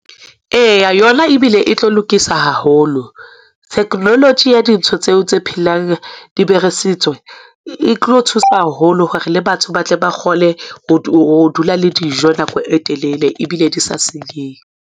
Eya, yona ebile e tlo lokisa haholo theknoloji ya dintho tseo tse phelang, diberesitswe. E tlo thusa haholo hore le batho ba tle ba kgone ho dula le dijo nako e telele, ebile di sa senyehe.